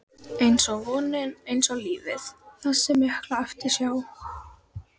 einsog vonin, einsog lífið- þessi mikla eftirsjá.